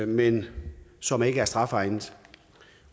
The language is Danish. men som ikke er strafegnede